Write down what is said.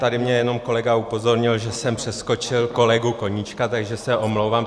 Tady mě jenom kolega upozornil, že jsem přeskočil kolegu Koníčka, takže se omlouvám.